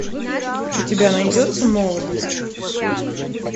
у тебя найдется молодость